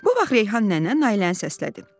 Bu vaxt Reyhan nənə Nailəni səslədi.